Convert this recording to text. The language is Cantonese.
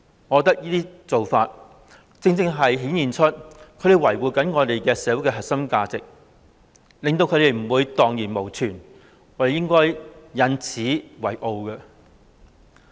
我覺得這種做法顯示他們正在維護我們社會的核心價值，令這些價值不致蕩然無存，我們應該引以為傲。